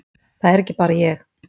Það er ekki bara ég.